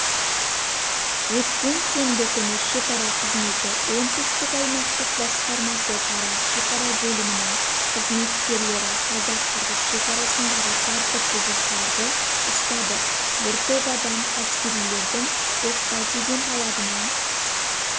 өткен сенбі күні шекара қызметі оңтүстік аймақтық басқармасы тараз шекара бөлімінің қызметкерлері қазақ-қырғыз шекарасындағы тәртіп бұзушыларды ұстады бір топ адам әскерилердің тоқта дегенталабына